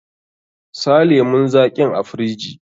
Sa lemun zaƙin a firiji!